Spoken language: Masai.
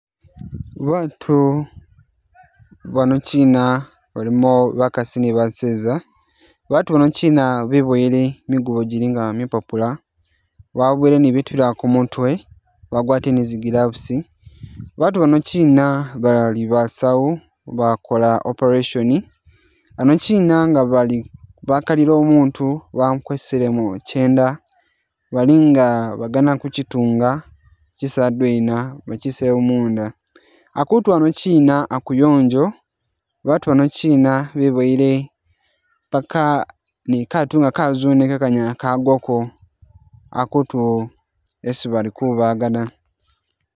Baatu banokyina balimo bakasi ni baseza batu banokyina biboyele migubo gyilinga mipapula babuyele ni bitu bilala kumutwe bagwatile ni zi gloves, baatu banokyina bali basawu bakola operation, hanokyina nga bali bakalile umutu bakweselemo kyeenda balinga bagana kukyitunga bakyise hadwena bakyiseyo munda, hatutu hanokyina hakuyongyo batu banoyina biboyile paka ni kaatu nga kazune kekanyala kagwako hakutu hesi bali kubaga da.